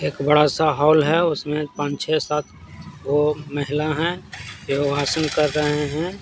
एक बड़ा सा हॉल है उसमें पांच छह सात वो महिला है जो हासन कर रहे हैं।